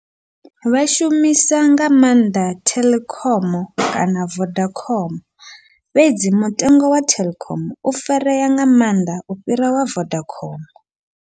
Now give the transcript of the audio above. Vha shumisa nga maanḓa Telkom kana Vodacom, fhedzi mutengo wa Telkom u farea nga mannḓa u fhira wa Vodacom.